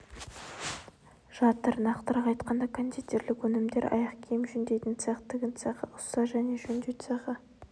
жатыр нақтырақ айтқанда кондитерлік өнімдер аяқ киім жөндейтін цех тігін цехы ұста және жөндеу цехы